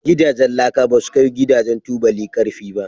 Gidajen laka basu kai Gidajen tubuli karfi ba.